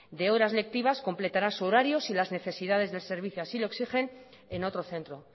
de horas lectiva completará su horario si las necesidades del servicio así lo exigen en otro centro